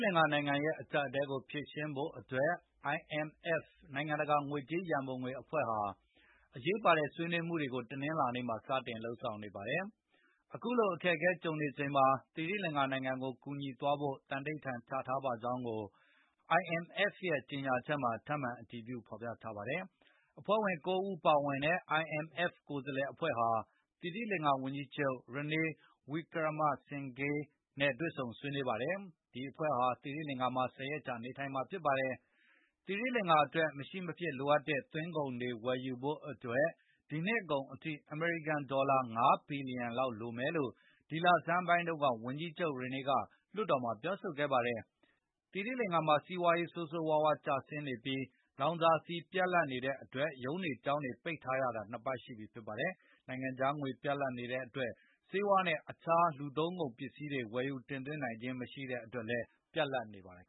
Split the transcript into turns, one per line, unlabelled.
လင်္ကာနိုင်ငံရဲ့အကြပ်အတည်းကိုဖြေရှင်းနိုင်ဖို့အတွက် IMF နိုင်ငံတကာ ငွေကြေးရံပုံငွေအဖွဲ့ဟာ အရေးပါတဲ့ဆွေးနွေးမှုတွေကို တနင်္လာနေ့မှာ စတင်လုပ်ဆောင်နေပါတယ်။ အခုလိုအခက်အခဲတွေကြုံနေချိန်မှာ သီရိလင်္ကာနိုင်ငံကိုကူညီသွားဖို့သံဓိဌာန်ချထားပါကြောင်းကို IMF ရဲ့အကြေငြာချက်မှာထပ်မံအတည်ပြုဖေါ်ပြထားပါတယ်။ အဖွဲ့ဝင် ၉ ဦးပါဝင်တဲ့ IMF ကိုယ်စားလှယ်အဖွဲ့ဟာ သီရိလင်္ကာဝန်ကြီးချုပ် Ranil Wickremesinghe နဲ့တွေဆုံဆွေးနွေးပါတယ်။ ဒီအဖွဲ့ဟာ သီရိလင်္ကာ မှာ ၁၀ ရက်ကြာနေထိုင်မှာဖြစ်ပါတယ်။ သီရိလင်္ကာအတွက် မရှိမဖြစ်လိုအပ်တဲ့သွင်းကုန်တွေဝယ်ယူဖို့အတွက်ဒီနှစ် ကုန်အထိ အမေရိကန်ဒေါ်လာ ၅ ဘီလီယံလောက်လိုမယ်လို့ ဒီလဆန်းပိုင်းက ဝန်ကြီးချုပ် Ranil ကလွှတ်တော်မှာပြောဆိုခဲ့ပါတယ်။ သီရိလင်္ကာမှာစီးပွားရေးဆိုးဆိုးဝါးဝါးကျဆင်းနေပြီးလောင်စာဆီပြတ်လပ်နေတဲ့အတွက်ရုံးတွေကျောင်းတွေပိတ်ထားရတာ၂ ပတ်ရှိပြီဖြစ်ပါတယ်။ နိုင်ငံခြားငွေပြတ်လပ်နေတဲ့အတွက် ဆေးဝါးနဲ့အခြားလူသုံးကုန်ပစ္စည်းတွေ လည်းဝယ်ယူ တင်သွင်းနိုင်ခြင်းမရှိတဲ့အတွက်လည်းပြတ်လ
ပ်နေပါတယ်